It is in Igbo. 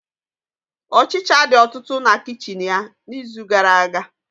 Ọchicha dị ọtụtụ na kichin ya n'izu gara-aga.